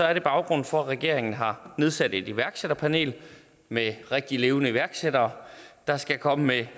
er det baggrunden for at regeringen har nedsat et iværksætterpanel med rigtige levende iværksættere der skal komme med